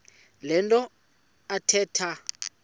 le nto athetha